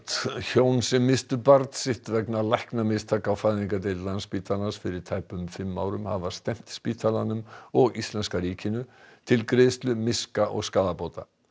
hjón sem misstu barn sitt vegna læknamistaka á fæðingardeild Landspítalans fyrir tæpum fimm árum hafa stefnt spítalanum og íslenska ríkinu til greiðslu miska og skaðabóta